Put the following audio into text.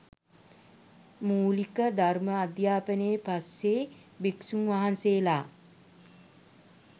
මූලික ධර්ම අධ්‍යාපනයෙන් පස්සේ භික්ෂූන් වහන්සේලා